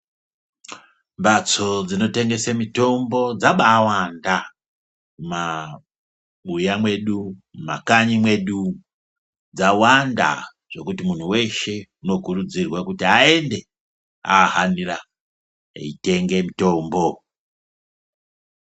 Mbatso dzinotengese mitombo dzabaawanda mabuya mwedu, makanyi mwedu dzawanda zvokuti munhu weshe unokurudzirwa kuti aende aahanira eitenge mutombo.